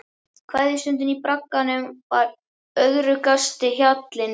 Kveðjustundin í bragganum var örðugasti hjallinn.